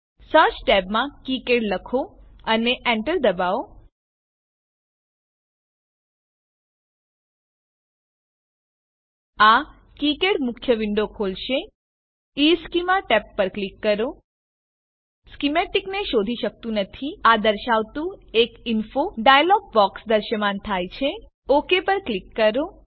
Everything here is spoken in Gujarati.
સર્ચ ટેબમાં કિકાડ લખો અને Enter દબાવો આ કિકાડ મુખ્ય વિન્ડો ખોલશે ઇશ્ચેમાં ટેબ પર ક્લિક કરો તે સ્કીમેટીકને શોધી શકતું નથી આ દર્શાવતું એક ઇન્ફો ડાયલોગ બોક્સ દ્રશ્યમાન થાય છે ઓક પર ક્લિક કરો